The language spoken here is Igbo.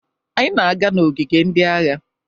Anyị na-aga n'ogige ndị agha.